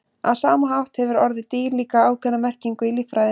Á sama hátt hefur orðið dýr líka ákveðna merkingu í líffræði.